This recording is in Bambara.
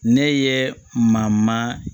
Ne ye ma